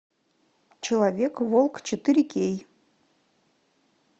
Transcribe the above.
человек волк четыре кей